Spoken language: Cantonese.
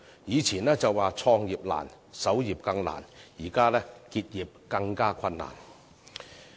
以前的說法是"創業難，守業更難"，現在是"結業更困難"。